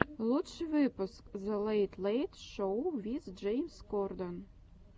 лучший выпуск зе лэйт лэйт шоу виз джеймс корден